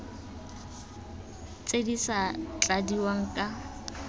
tse di sa tladiwang ka